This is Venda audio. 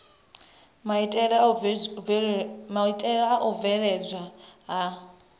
maitele a u bveledzwa ha